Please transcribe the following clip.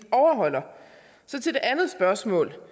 til det andet spørgsmål